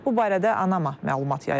Bu barədə ANAMA məlumat yayıb.